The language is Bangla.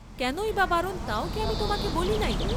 কেনই বা বারণ, তাও কি আমি তোমাকে বলি নাই?